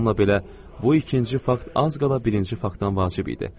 Bununla belə, bu ikinci fakt az qala birinci faktdan vacib idi.